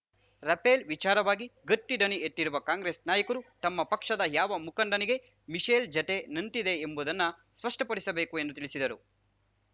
Rafale ವಿಚಾರವಾಗಿ ಗಟ್ಟಿದನಿ ಎತ್ತಿರುವ ಕಾಂಗ್ರೆಸ್‌ ನಾಯಕರು ತಮ್ಮ ಪಕ್ಷದ ಯಾವ ಮುಖಂಡನಿಗೆ ಮಿಶೆಲ್‌ ಜತೆ ನಂಟಿದೆ ಎಂಬುದನ್ನ ಸ್ಪಷ್ಟಪಡಿಸಬೇಕು ಎಂದು ತಿಳಿಸಿದರು